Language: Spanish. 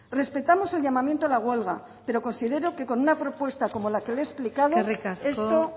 respetamos el llamamiento a la huelga pero considero que con una propuesta como la que le he explicado esto puede tener una solución eskerrik asko